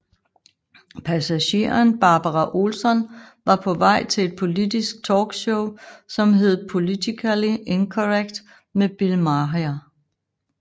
Passageren Barbara Olson var på vej til et politisk talkshow som hed Politically Incorrect med Bill Maher